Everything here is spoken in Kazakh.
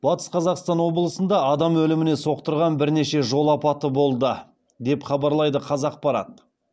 батыс қазақстан облысында адам өліміне соқтырған бірнеше жол апаты болды деп хабарлайды қазақпарат